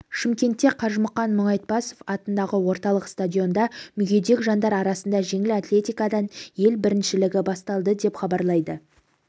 шымкентте қажымұқан мұңайтпасов атындағы орталық стадионда мүгедек жандар арасында жеңіл атлетикадан ел біріншілігі басталды деп хабарлайды